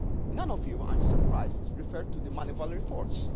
None of you I am surprised referred to the Moneyval reports.